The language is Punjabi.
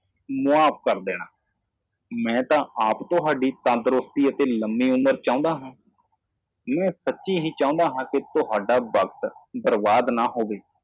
ਮੈਨੂੰ ਮਾਫ਼ ਕਰ ਦੇਵੋ ਮੈਂ ਖੁਦ ਤੁਹਾਡੀ ਸਿਹਤ ਅਤੇ ਲੰਬੀ ਉਮਰ ਚਾਹੁੰਦਾ ਹਾਂ ਕੀ ਇਹ ਸੱਚ ਹੈ ਕਿ ਮੈਂ ਤੁਹਾਡਾ ਸਮਾਂ ਬਰਬਾਦ ਨਹੀਂ ਕਰਨਾ ਚਾਹੁੰਦਾ